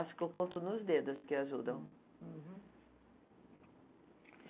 Acho que eu conto nos dedos as que ajudam. Uhum.